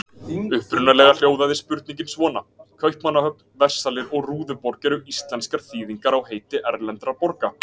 Upprunalega hljóðaði spurningin svona: Kaupmannahöfn, Versalir og Rúðuborg eru íslenskar þýðingar á heiti erlendra borga.